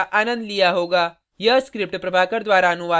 आशा करते हैं कि आपने इस पर्ल के ट्यूटोरियल का आनंद लिया होगा